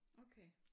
Okay